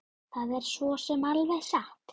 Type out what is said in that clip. Það er svo sem alveg satt